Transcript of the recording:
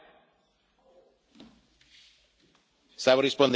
Quindi la richiamo all'ordine e all'educazione.